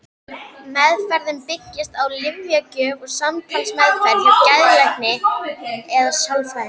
Meðferðin byggist á lyfjagjöf og samtalsmeðferð hjá geðlækni eða sálfræðingi.